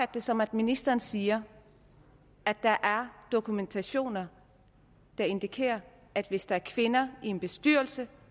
det som at ministeren siger at der er dokumentation der indikerer at hvis der er kvinder i en bestyrelse